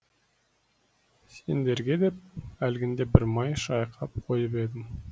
сендерге деп әлгінде бір май шайқап қойып едім